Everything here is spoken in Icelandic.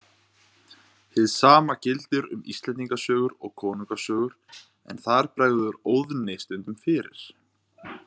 Hið sama gildir um Íslendingasögur og konungasögur en þar bregður Óðni stundum fyrir.